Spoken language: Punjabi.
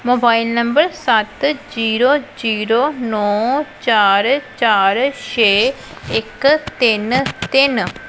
ਮੋਬਾਇਲ ਨੰਬਰ ਸੱਤ ਜ਼ੀਰੋ ਜ਼ੀਰੋ ਨੋ ਚਾਰ ਚਾਰ ਛੇ ਇੱਕ ਤਿੰਨ ਤਿੰਨ